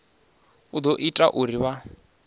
u ḓo ita uri vha